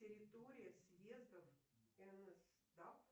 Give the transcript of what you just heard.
территория съездов нсдап